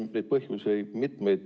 Siin on põhjuseid mitmeid.